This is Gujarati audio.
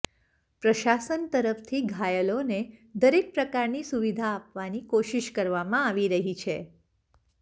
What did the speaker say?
પ્રશાસન તરફથી ઘાયલોને દરેક પ્રકારની સુવિધા આપવાની કોશિશ કરવામાં આવી રહી છે